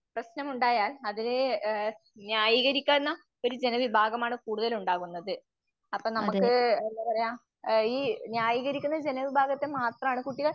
പ്രശ്നമുണ്ടായാൽ അതിലേ ഏഹ് ന്യായീകരിക്കന്ന ഒരു ജനവിഭാഗമാണ് കൂടുതൽ ഉണ്ടാകുന്നത്. അപ്പം നമുക്ക് എന്താപറയ അ ഈ ന്യായീകരിക്കുന്ന ജനവിഭാഗത്തെ മാത്രാണ് കുട്ടികൾ